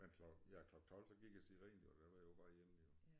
Men ja klokken 12 der gik jo æ siren jo der var jeg på vej hjem